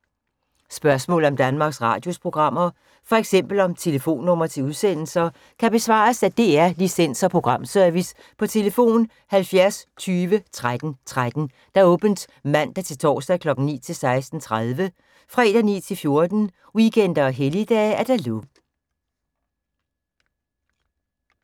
Spørgsmål om Danmarks Radios programmer, f.eks. om telefonnumre til udsendelser, kan besvares af DR Licens- og Programservice: tlf. 70 20 13 13, åbent mandag-torsdag 9.00-16.30, fredag 9.00-14.00, weekender og helligdage: lukket.